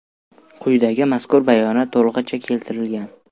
Quyidagi mazkur bayonot to‘lig‘icha keltirilgan.